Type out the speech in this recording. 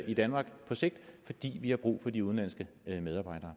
i danmark på sigt fordi vi har brug for de udenlandske medarbejdere